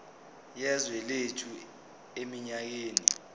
yezwe lethu eminyakeni